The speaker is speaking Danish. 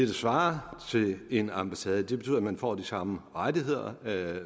svarer til en ambassade det betyder at man får de samme rettigheder